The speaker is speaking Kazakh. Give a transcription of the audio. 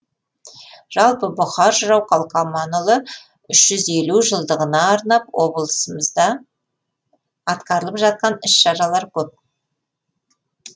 жалпы бұқар жырау қалқаманұлының үш жүз елу жылдығына арнап облысымызда атқарылып жатқан іс шаралар көп